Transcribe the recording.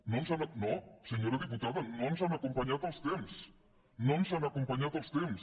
no senyora diputada no ens han acompanyat els temps no ens han acompanyat els temps